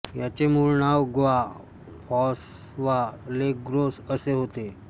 याचे मूळ नाव ग्वा फॉस्वा ले ग्रोस असे होते